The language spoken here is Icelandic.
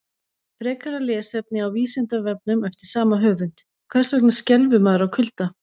Frekara lesefni á Vísindavefnum eftir sama höfund: Hvers vegna skelfur maður af kulda?